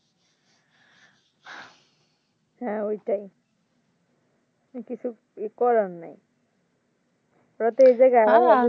হ্যাঁ ওইটাই কিন্তু কিছু এ করার নাই ওরা যেই জায়গায়